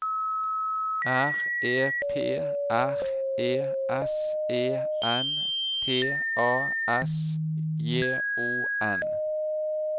R E P R E S E N T A S J O N